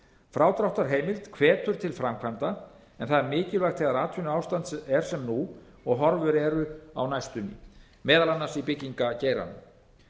frádráttarheimild hvetur til framkvæmda en það er mikilvægt þegar atvinnuástand er sem nú og horfur eru á næstunni meðal annars í byggingargeiranum